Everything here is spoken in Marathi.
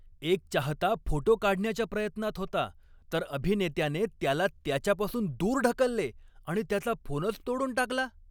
एक चाहता फोटो काढण्याच्या प्रयत्नात होता, तर अभिनेत्याने त्याला त्याच्यापासून दूर ढकलले आणि त्याचा फोनच तोडून टाकला.